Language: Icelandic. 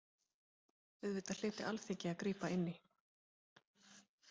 Auðvitað hlyti Alþingi að grípa inn í.